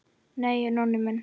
Nei, Nonni minn.